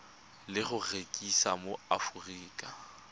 le go rekisiwa mo aforika